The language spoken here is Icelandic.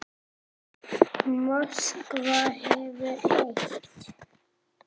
Moskva hefur eitt.